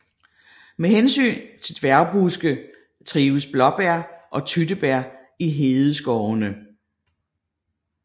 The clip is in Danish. Med hensyn til dværgbuske trives blåbær og tyttebær i hedeskovene